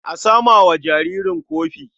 A sama wa jaririn kofi.